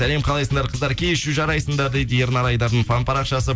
сәлем қалайсыңдар қыздар кешью жарайсыңдар дейді ернар айдардың фан парақшасы